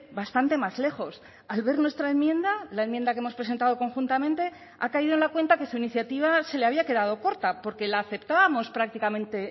bastante más lejos al ver nuestra enmienda la enmienda que hemos presentado conjuntamente ha caído en la cuenta que su iniciativa se le había quedado corta porque la aceptábamos prácticamente